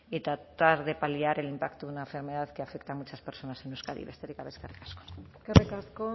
y tratar de paliar el impacto de una enfermedad que afecta a muchas personas en euskadi besterik gabe eskerrik asko eskerrik asko